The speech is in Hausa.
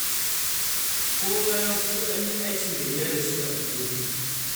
Kowa ya fito an yi aikin gayya da shi a unguwarmu.